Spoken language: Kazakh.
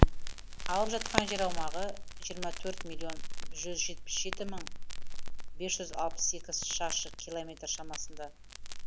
алып жатқан жер аумағы жиырма жеті миллион жүз жетпіс жеті мың бес жүз алпыс сегіз шаршы километр шамасында